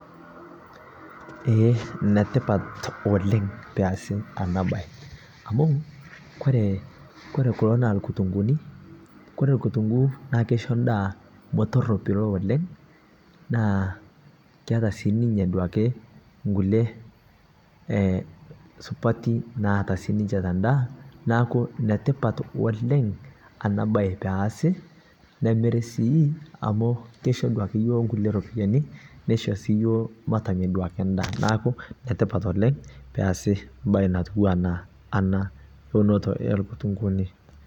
Eeh enetipat oleng' pee easi enabaye. Amu, kore kulo naa inkirunguuni, kore kutunguu naa keisho endaa metoropilo oleng', naa keata sii ninye duake inkulie supati naata sininche tendaa, neeku enetipat woleng ena baye peesi, nemiri sii amu keishu duakeyiok kulie ropiyiani, nisho sii yiok maitamelok endaa neeku enetipat oleng' pee easi embaye natuu enaa ana. Ounoto oonkirunguuni.